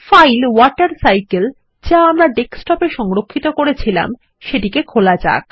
file water cycle যা আমরা desktop এ সংরক্ষিত করেছিলাম সেটিকে খোলা যাক